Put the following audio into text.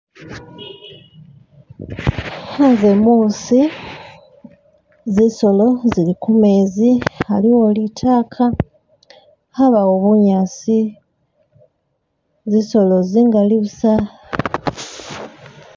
Anze muusi , zizolo zili kumezi , aliwo litaka , abawo bunyasi, zizolo zingali busa